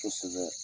Kosɛbɛ